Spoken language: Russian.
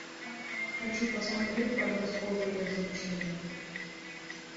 хочу посмотреть подростковые развлечения